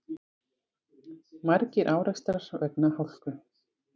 Margir árekstrar vegna hálku